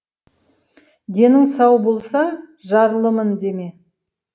денің сау болса жарлымын деме